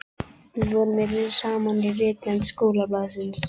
Við vorum saman í ritnefnd skólablaðsins.